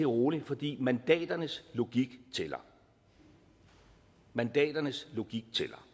roligt fordi mandaternes logik tæller mandaternes logik tæller